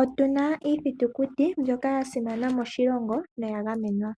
Oyuna iithitukuti mbyoka ya simana moshilongo noya gamenwa.